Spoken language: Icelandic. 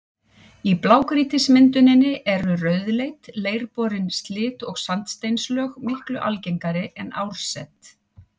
Í blágrýtismynduninni eru rauðleit, leirborin silt- og sandsteinslög miklu algengari en árset.